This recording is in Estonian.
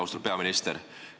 Austatud peaminister!